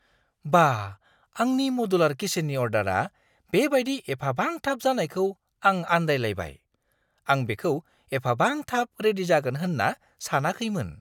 बा! आंनि मडुलार किचेननि अर्डारआ बे बायदि एफाबां थाब जानायखौ आं आनदाय लायबाय। आं बेखौ एफाबां थाब रेडि जागोन होन्ना सानाखैमोन!